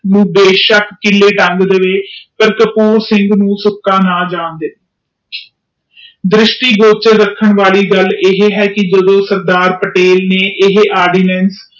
ਉਹ ਬੇਸ਼ਕ ਕਿਲੇ ਤੰਗ ਦੇਵੇ ਗਈ ਪਰ ਕਪੂਰ ਸੁਇਨਘ ਨੂੰ ਸੁਕਾ ਨਾ ਜਾਨ ਦੇਵੇ ਗਈ ਦ੍ਰਿਸ਼ਟੀ ਕੋਪ ਚ ਰੱਖਣ ਵਾਲਿਉ ਗੱਲ ਇਹ ਹੈ ਕਿ ਜਦੋ ਸਰਦਾਰ ਪਟੇਲ ਨੇ ਇਹ ਐਵੀਡੈਂਸ